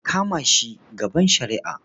A kama shi gaban shari'a.